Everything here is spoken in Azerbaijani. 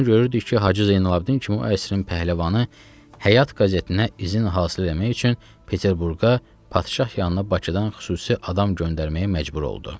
Bunu görürdük ki, Hacı Zeynalabidin ki o əsrin pəhləvanı Həyat qəzetinə izin hasil eləmək üçün Peterburqa, Padşah yanına Bakıdan xüsusi adam göndərməyə məcbur oldu.